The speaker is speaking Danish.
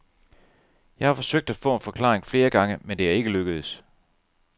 Jeg har forsøgt at få en forklaring flere gange, men det er ikke lykkedes.